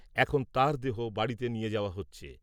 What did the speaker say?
এখন তাঁর দেহ বাড়িতে নিয়ে যাওয়া হচ্ছে।